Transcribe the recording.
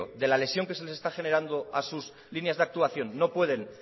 de la lesión que se les está generando a sus líneas de actuación no pueden